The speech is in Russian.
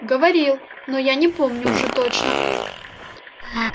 говорил но я не помню уже точно